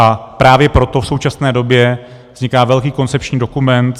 A právě proto v současné době vzniká velký koncepční dokument